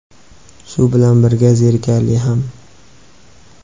Shu bilan birga, zerikarli ham.